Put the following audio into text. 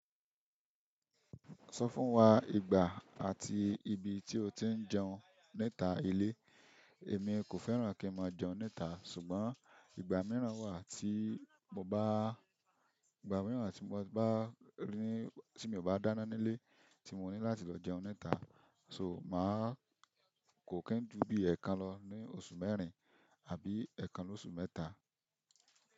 Sọ fún wa ìgbà àti ibi tí o ti ń jẹun níta ilé. Èmi kò fẹ́ràn kí n máa jẹun níta ṣùgbọ́n ìgbà míràn wà tii mo bá- ìgbà míràn tí mo bá rí, tí mi ń bá dáná nílé, mo ní láti lọ jẹun níta, ṣùgbọ́n kò kín jù bí ẹẹkan lọ ní oṣù mẹ́rin àbí ẹẹkan lóṣù mẹ́ta.